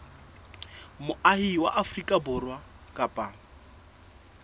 moahi wa afrika borwa kapa